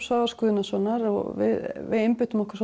Svavars Guðnasonar við einbeitum okkur